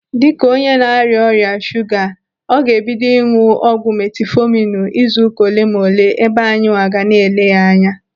Dịka onye na-arịa ọrịa shuga, ọ ga-ebido ịnụ ọgwụ metifọminu izuụka olenaole ebe anyị nwa ga na-ele ya anya.